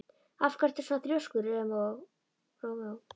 Af hverju ertu svona þrjóskur, Rómeó?